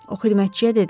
O xidmətçiyə dedi.